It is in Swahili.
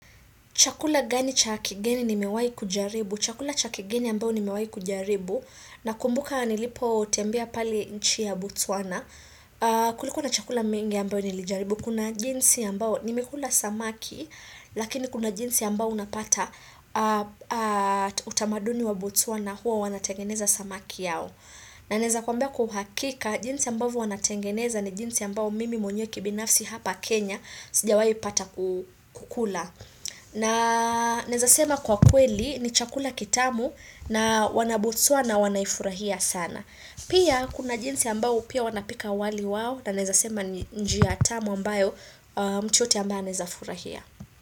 Chakula gani cha kigeni nimewahi kujaribu? Chakula cha kigeni ambao nimewahi kujaribu. Nakumbuka nilipo tembea pali nchi ya botswana. Kulikuwa na chakula mingi ambao nilijaribu. Kuna jinsi ambao nimekula samaki, lakini kuna jinsi ambao unapata utamaduni wa botswana huwa wanatengeneza samaki yao. Na naeza kwambia kwa uhakika, jinsi ambao wanatengeneza ni jinsi ambao mimi mwenyewe kibinafsi hapa Kenya, sijawahi pata kukula. Na naezasema kwa kweli ni chakula kitamu na wanabotswana wanaifurahia sana. Pia kuna jinsi ambao pia wanapika wali wao na naezasema njia tamu ambayo mtu yote ambao anaezafurahia.